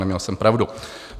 Neměl jsem pravdu.